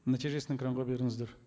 нәтижесін экранға беріңіздер